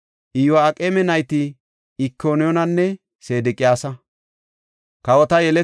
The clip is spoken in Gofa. Iyo7aaqeme nayti Ikoniyaananne Sedeqiyaasa.